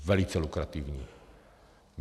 Velice lukrativní.